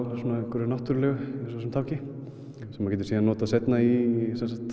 einhverju náttúrulega eins og þessum tanki sem þú getur notað seinna í